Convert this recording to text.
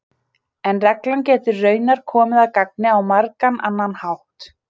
En reglan getur raunar komið að gagni á margan annan hátt.